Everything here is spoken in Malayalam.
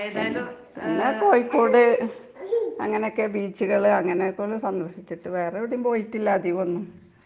ഉം പിന്നെ കോയിക്കോട് അങ്ങനൊക്കെ ബീച്ച്കള് അങ്ങനൊക്കൊള്ളു സന്ദർശിച്ചിട്ട്. വേറെവടേം പോയിട്ടില്ല അധികോന്നും.